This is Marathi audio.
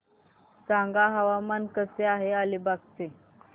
सांगा हवामान कसे आहे अलिबाग चे